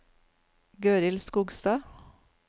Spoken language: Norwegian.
Gøril Skogstad